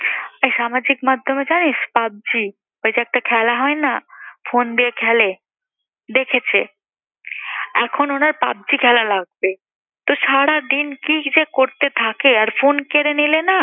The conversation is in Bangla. এই সামাজিক মাধ্যমে জানিস PUBG ওই যে একটা খেলা হয় না, phone দিয়ে খেলে? দেখেছে এখন ওনার PUBG খেলা লাগবে। তো সারাদিন কি যে করতে থাকে আর phone কেড়ে নিলে না